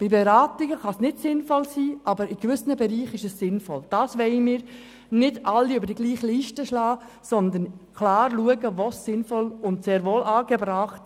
Zu Punkt 3: Es ist mir wichtig zu erwähnen, dass es hier nicht um die Mütter- und Väterberatung geht.